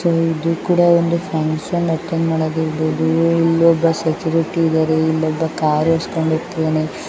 So ಇದು ಕೂಡ ಒಂದು ಫ್ಯಾಂಕ್ಷನ್ ಅಟೆಂಡ್ ಮಾಡಾಕ್ ಇಲ್ಲೊಬ್ಬ ಸೆಕ್ಯೂರಿಟಿ ಇದಾರೆ. ಇಲ್ಲೊಬ್ಬ ಕಾರ್ ಓಡಿಸ್ಕೊಂಡ್ ಹೋಗ್ತಿದ್ದಾನೆ.